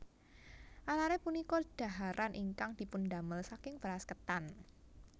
Arare punika dhaharan ingkang dipundamel saking beras ketan